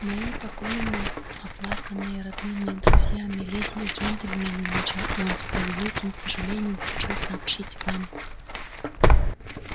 мои покойные оплаканные родными и друзьями леди и джентльмены начал он с превеликим сожалением хочу сообщить вам